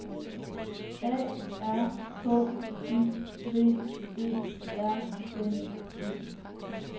A R K I V E R N E